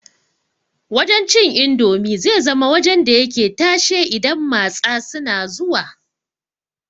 Wajan cin indomi zai zama wajan da yake tashe idan matsa suna zuwa